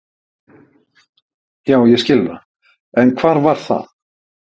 Já, ég skil það, en hvar var það?